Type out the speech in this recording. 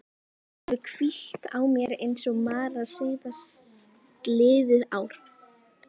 Þetta hefur hvílt á mér eins og mara síðastliðið ár.